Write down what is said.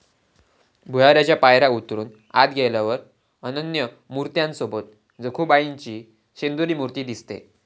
भुयाराच्या पायऱ्या उतरून आत गेल्यावर अनन्य मुर्त्यांसोबत जखुबाईची शेंदरी मूर्ती दिसते.